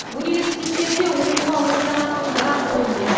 университеттерде оқуға ондаған мың грант бөлінеді